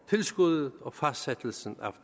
tilskuddet og fastsættelsen